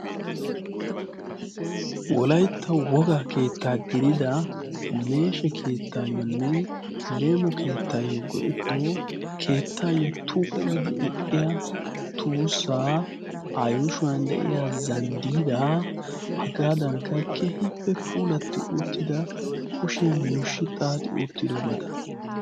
Wolaytta woga keettaa gidida meeshe keettaayyoonne leemo keettaayyo goitto keettaayyo tuuqe gidi eqqiya tuussaa a yuushuwan de'iya zanddiida hagaadankka kehiippe puulatti uttida kushiyan yuushshi xaati uttidobata.